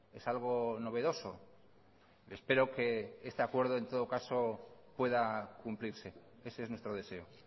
es algo novedoso espero que este acuerdo en todo caso pueda cumplirse ese es nuestro deseo